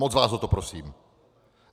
Moc vás o to prosím.